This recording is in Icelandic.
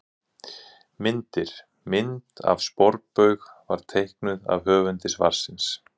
Myndir: Mynd af sporbaug var teiknuð af höfundi svarsins.